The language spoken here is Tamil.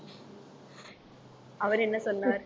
அவர் என்ன சொன்னார்